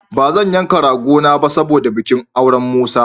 Ba zan yanka ragona ba saboda bikin auren Musa.